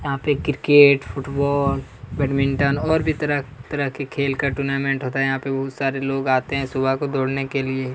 यहाँ पर cricket football badminton और भी तरह तरह के खेल का टूर्नामेंट होता है यहाँ पर बहुत सारे लोग आते है सुबह को दौड़ने के लिए--